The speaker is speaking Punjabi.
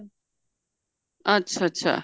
ਅੱਛਾ ਅੱਛਾ